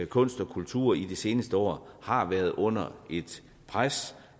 kunst og kultur i de seneste år har været under et pres